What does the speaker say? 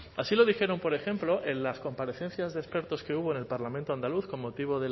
así lo dijeron por ejemplo en las comparecencias de expertos que hubo en el parlamento andaluz con motivo